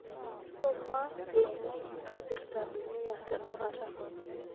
suma lomon oipirta dunia tenakata